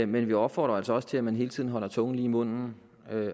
men vi opfordrer altså også til at man hele tiden holder tungen lige i munden